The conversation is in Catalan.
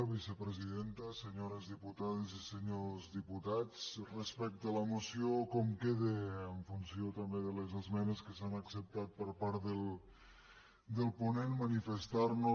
vicepresidenta senyors diputades i senyors diputats respecte a la moció com queda en funció també de les esmenes que s’han acceptat per part del ponent manifestar nos